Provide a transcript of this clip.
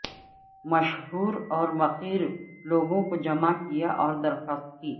مشہور اور مخیر لوگوں کو جمع کیا اور درخواست کی